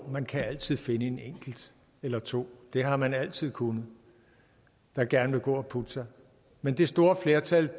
man kan altid finde en enkelt eller to og det har man altid kunnet der gerne vil gå og putte sig men det store flertal